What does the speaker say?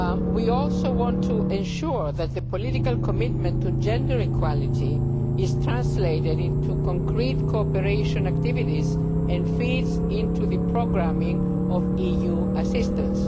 We also want to ensure that the political commitment to gender equality is translated into concrete cooperation activities and feeds into the programming of EU assistance.